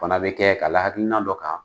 Fana bɛ kɛ ka la hakiina dɔ kan.